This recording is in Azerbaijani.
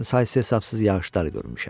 Mən saysız-hesabsız yağışlar görmüşəm.